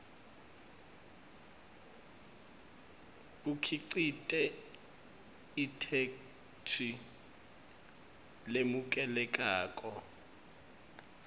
bukhicite itheksthi lemukelekako